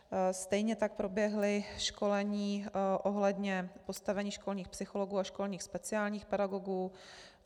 Stejně tak proběhla školení ohledně postavení školních psychologů a školních speciálních pedagogů.